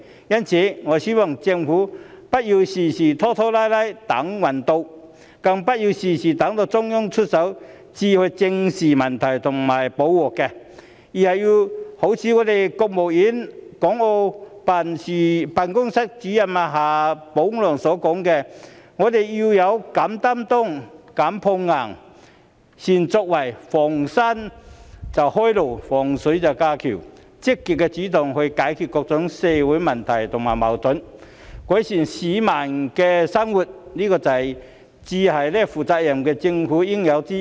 因此，我希望政府不要事事拖拖拉拉或"等運到"，更不要事事等到中央出手才去正視問題和補救錯失；而是要一如國務院港澳事務辦公室主任夏寶龍所說，我們要"勇擔當、敢碰硬、善作為，逢山能開路、遇水能架橋"，積極主動地去解決各種社會問題和矛盾，改善市民的生活，這才是負責任政府的應有之義。